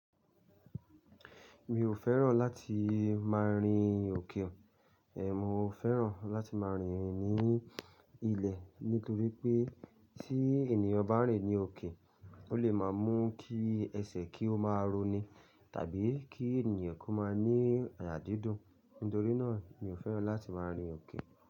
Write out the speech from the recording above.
Mi ò fẹ́ràn láti má a rin òkè o. Ẹ̀, mo fẹ́ràn láti má a rìn ní ilẹ̀ nítorí pé tí ènìyàn bá ń rìn ní òkè, ó lè máa mú kí ẹsẹ̀ kí ó máa roni tàbí kí ènìyàn kó máa ní àyà dídùn. Nítorí náà mi ò fẹ́ràn láti má a rin òkè.